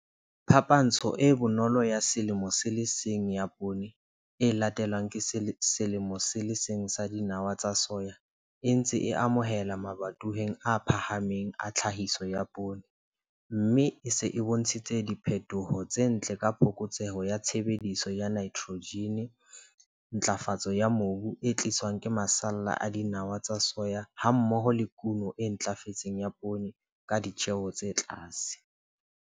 Phapantsho e bonolo ya selemo se le seng ya poone e latelwang ke selemo se le seng sa dinawa tsa soya e ntse a amohelwa mabatoweng a phahameng a tlhahiso ya poone, mme e se e bontshitse diphetho tse ntle ka phokotseho ya tshebediso ya nitrojene, ntlafatso ya mobu e tliswang ke masalla a dinawa tsa soya hammoho le kuno e ntlafetseng ya poone ka ditjeo tse tlase.